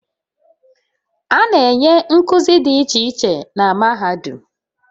A na-enye nkuzi dị iche iche na mahadum